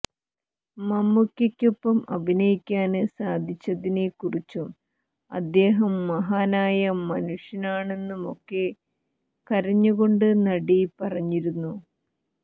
മമ്മൂക്കയ്ക്കൊപ്പം അഭിനയിക്കാന് സാധിച്ചതിനെ കുറിച്ചും അദ്ദേഹം മഹാനായ മനുഷ്യനാണെന്നുമൊക്കെ കരഞ്ഞ് കൊണ്ട് നടി പറഞ്ഞിരുന്നു